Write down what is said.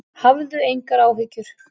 Hafðu engar áhyggjur.